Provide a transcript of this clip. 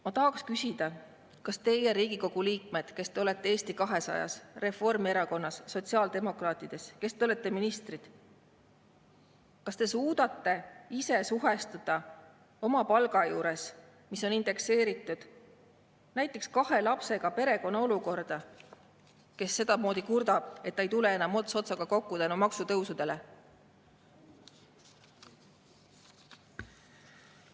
Ma tahaksin küsida, kas teie, Riigikogu liikmed, kes te olete Eesti 200‑s, Reformierakonnas, sotsiaaldemokraatide ridades, kes te olete ministrid, kas te suudate ise suhestuda oma palga juures, mis on indekseeritud, näiteks kahe lapsega perekonna olukorraga, kes kurdab, et ei tule enam ots otsaga kokku maksutõusude tõttu.